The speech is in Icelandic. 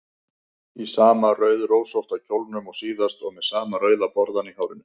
Í sama rauðrósótta kjólnum og síðast og með sama rauða borðann í hárinu.